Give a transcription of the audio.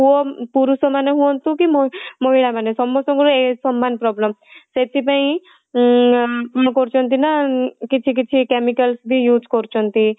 ପୁଅ ପୁରୁଷ ମାନେ ହୁଅନ୍ତୁ କି ମହିଳା ମାନେ ସମସ୍ତଙ୍କର ଏ ସମାନ problem ସେଥି ପାଇଁ ଉଁ କରୁଛନ୍ତି ନା କିଛି କିଛି chemical ବି use କରୁଛନ୍ତି